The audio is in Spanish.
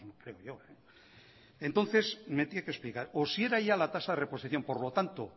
creo yo entonces me tiene que explicar o si era ya la tasa de reposición por lo tanto